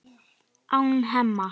án Hemma.